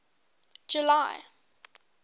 july